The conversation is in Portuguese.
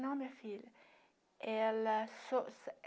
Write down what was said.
Não, minha filha. Ela